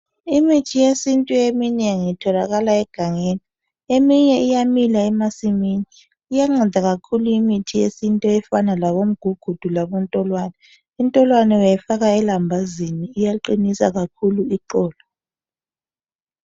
Imithi yesintu eminengi itholakala egangeni. Eminye iyamila emasimini. Iyanceda kakhulu imithi yesintu efana labomgugudu labontolwane. Intolwane uyayifaka elambazini. Iyaqinisa kakhulu iqolo.